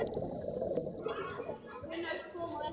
Gunnar kom á eftir.